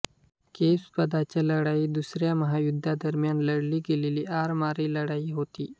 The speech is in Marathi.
केप स्पादाची लढाई दुसऱ्या महायुद्धादरम्यान लढली गेलेली आरमारी लढाई होती